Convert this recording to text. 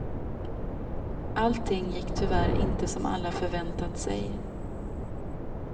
Allting gick tyvärr inte som alla förväntat sig.